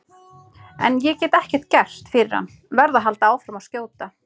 En ég get ekkert gert fyrir hann, verð að halda áfram að skjóta.